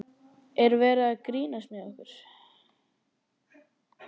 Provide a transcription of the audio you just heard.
Er verið að grínast með okkur?